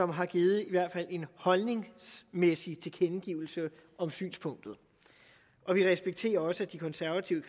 har givet en holdningsmæssig tilkendegivelse om synspunktet og vi respekterer også at de konservative